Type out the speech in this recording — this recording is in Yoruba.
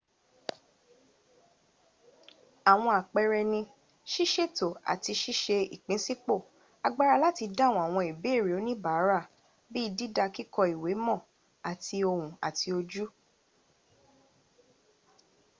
àwọn àpẹrẹ ni ṣìṣètò àti ṣíṣe ìpínsípò agbára láti dáhùn àwọn ìbéèrè oníbàára bí dídá kíkọ ìwé mọ̀ àti ohùn àti ojú